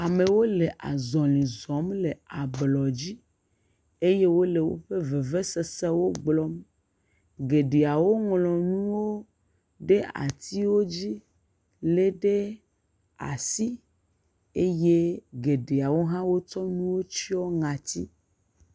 Amewo le zɔzɔm le ablɔdzi eye wole woƒe vevesesewo gblɔm, geɖeawo ŋlɔ nuwo ɖe atiwo dzi lé ɖe asi eye geɖewo hã wotsɔ nuwo tsyɔ ŋɔati.